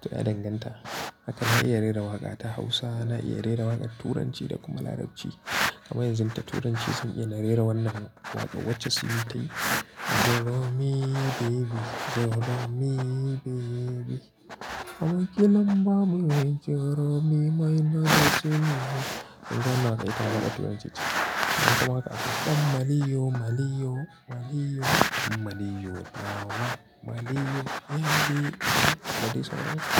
to ya danganta Haka na iya rera waƙa ta Hausa, na iya rera waƙa turanci da kuma Larabci. Amma yanzu da turanci sun iya na rera wannan waƙa, wacce sun tayi. Inda naga ita na gaya mata yace. Kuma aka ɗan Maliyo, Maliyo, Maliyo, ɗan nawa Maliyo, Maliyo.